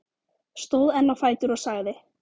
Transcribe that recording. Stóð enn á fætur og sagði